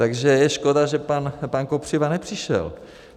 Takže je škoda, že pan Kopřiva nepřišel.